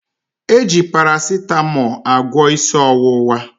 E ji Parasịtamọọ agwọ isi ọwụwa